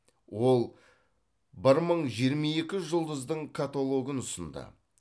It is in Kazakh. ол бір мың жиырма екі жұлдыздың каталогын ұсынды